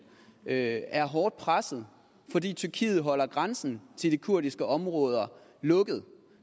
at er hårdt presset fordi tyrkiet holder grænsen til de kurdiske områder lukket